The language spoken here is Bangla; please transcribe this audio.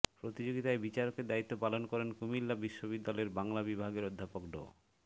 প্রতিযোগিতায় বিচারকের দায়িত্ব পালন করেন কুমিল্লা বিশ্ববিদ্যালয়ের বাংলা বিভাগের অধ্যাপক ড